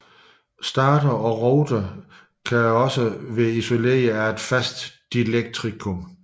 Stator og rotor kan yderligere være isoleret af et fast dielektrikum